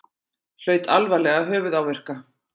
Hlaut alvarlega höfuðáverka